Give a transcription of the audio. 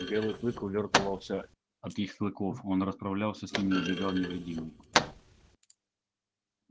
белый клык увёртывался от их клыков он расправлялся с ними и убегал невредимый